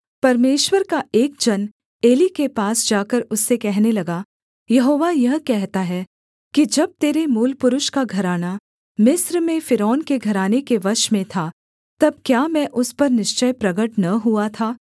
परमेश्वर का एक जन एली के पास जाकर उससे कहने लगा यहोवा यह कहता है कि जब तेरे मूलपुरुष का घराना मिस्र में फ़िरौन के घराने के वश में था तब क्या मैं उस पर निश्चय प्रगट न हुआ था